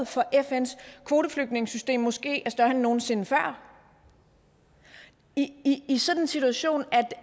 for fns kvoteflygtningesystem måske er større end nogen sinde før i sådan en situation